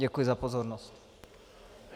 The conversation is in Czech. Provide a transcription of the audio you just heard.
Děkuji za pozornost.